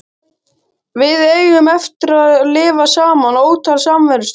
Við eigum eftir að lifa saman ótal samverustundir.